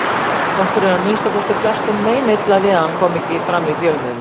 Okkur er að minnsta kosti flestum meinilla við að hann komi ekki fram í fjölmiðlum.